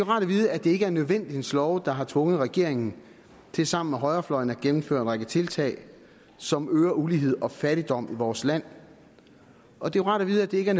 rart at vide at det ikke er nødvendighedens love der har tvunget regeringen til sammen med højrefløjen at gennemføre en række tiltag som øger uligheden og fattigdommen i vores land og det er rart at vide at det ikke er